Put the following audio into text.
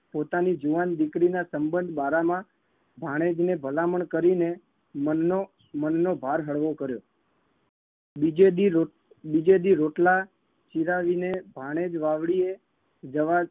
પોતાની જુવાન દીકરીના સંબંધ બારામાં ભાણેજને ભલામણ કરીને મનનો મનનો ભાર હળવો કર્યો. બીજે દી રોટ બીજે દી રોટલા ચીરાવીને ભાણેજ વાવડીએ જવા